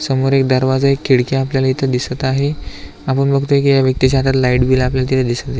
समोर एक दरवाजा एक खिडकी आपल्याला इथे दिसत आहे आपण बघतोय की या व्यक्ति च्या हातात लाइट बिल आपल्याला तिथे दिसत आहे.